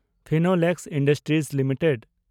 Finolex industries limited